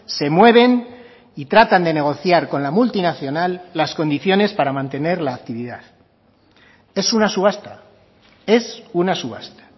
se mueven y tratan de negociar con la multinacional las condiciones para mantener la actividad es una subasta es una subasta